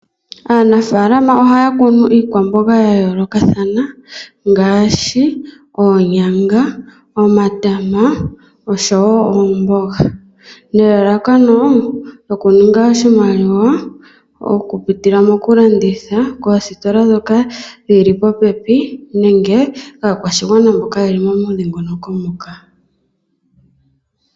Aanafaalama ohaya kunu iikwamboga ya yoolokathana ngaashi oonyanga, omatama nosho woo oomboga, nelalakano lyokuninga oshimaliwa okupitila mokulanditha koositola ndhoka dhi li popepi nenge kaakwashigwana mboka ye li momudhingoloko moka.